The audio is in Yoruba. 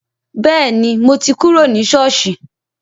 Bẹẹni, mo ti kúrò ní soosi